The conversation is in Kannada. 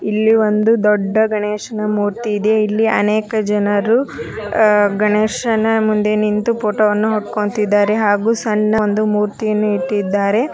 ಇಲ್ಲಿ ಒಂದು ದೊಡ್ಡ ಗಣೇಶನ ಮೂರ್ತಿ ಇದೆ. ಇಲ್ಲಿ ಅನೇಕ ಜನರು ಅಹ್ ಗಣೇಶನ ಮುಂದೆ ನಿಂತು ಫೋಟೋ ವನ್ನು ಹೊಡ್ಕೊಂತಿದ್ದಾರೆ. ಹಾಗೂ ಸಣ್ಣ ಒಂದು ಮೂರ್ತಿಯನ್ನು ಇಟ್ಟಿದ್ದಾರೆ.